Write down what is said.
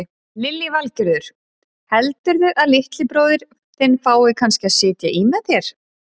Lillý Valgerður: Heldurðu að litli bróðir þinn fái kannski að sitja í með þér?